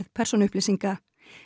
persónuupplýsinga